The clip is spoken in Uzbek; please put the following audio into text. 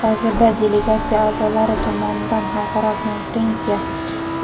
Hozirda delegatsiya a’zolari tomonidan xalqaro konferensiya